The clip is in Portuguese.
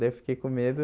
Daí eu fiquei com medo.